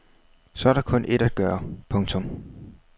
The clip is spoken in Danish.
Så er der kun ét at gøre. punktum